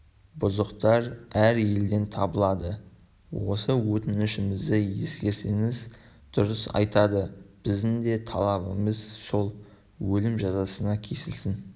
бұзықтар әр елден табылады осы өтінішімізді ескерсеңіз дұрыс айтады біздің де талабымыз сол өлім жазасына кесілсін